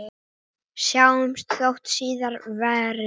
Sjáumst þótt síðar verði.